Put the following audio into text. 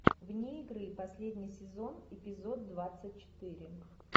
вне игры последний сезон эпизод двадцать четыре